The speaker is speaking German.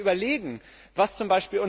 Wenn Sie sich überlegen, was z.